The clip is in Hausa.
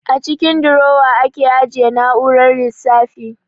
A cikin durowa ake ajiye na'urar lissafi